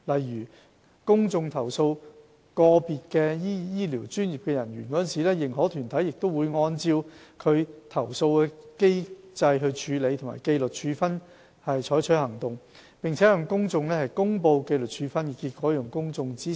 如公眾投訴個別醫療專業人員，認可團體會按照其投訴處理及紀律處分機制採取行動，並向公眾公布紀律處分結果，讓公眾知悉。